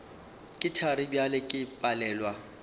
ke thari bjale ke palelwa